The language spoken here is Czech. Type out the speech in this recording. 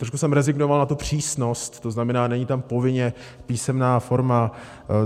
Trošku jsem rezignoval na tu přísnost, to znamená, není tam povinně písemná forma.